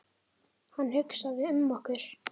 Hann hugsaði um okkur.